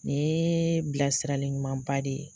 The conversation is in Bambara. Nin yee bilasirali ɲumanba de ye.